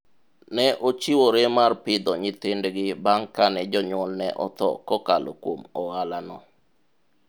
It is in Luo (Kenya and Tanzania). ne ochiwore mar pidho nyithindgi bang' kane jonyuolne otho kokalo kuom ohala no